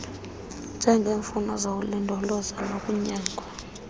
njengeemfuno zokulindolozwa nokunyangwa